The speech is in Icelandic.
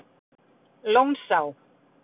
Lónsá